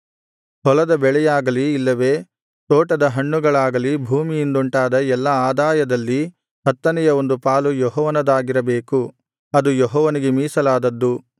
ಹೊಲದ ಬೆಳೆಯಾಗಲಿ ಇಲ್ಲವೇ ತೋಟದ ಹಣ್ಣುಗಳಾಗಲಿ ಭೂಮಿಯಿಂದುಂಟಾದ ಎಲ್ಲಾ ಆದಾಯದಲ್ಲಿ ಹತ್ತನೆಯ ಒಂದು ಪಾಲು ಯೆಹೋವನದಾಗಿರಬೇಕು ಅದು ಯೆಹೋವನಿಗೆ ಮೀಸಲಾದದ್ದು